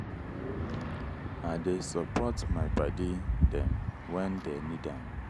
i dey support my paddy dem wen dey need am.